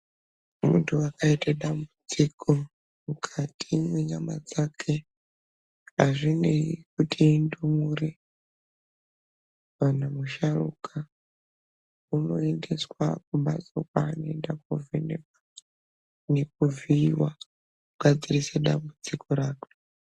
Muntu akaite dambudziko mukati menyama dzake hazvinei kuti indumure kana musharuka. Unoendeswa kumhatso kwaanoende kovhenekwa nekuvhiiva kugadzirisa dambudziko rakwe.